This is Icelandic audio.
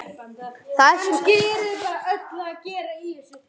Næst er það bambus.